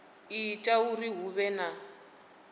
ita uri hu vhe na